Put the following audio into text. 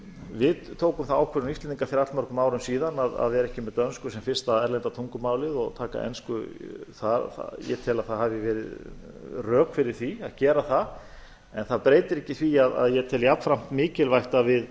við tókum þá ákvörðun íslendingar fyrir allnokkrum árum síðan að vera ekki með dönsku sem fyrsta erlenda tungumálið og taka ensku ég tel að það hafi verið rök fyrir því að gera það en það breytir ekki því að ég tel jafnframt mikilvægt að við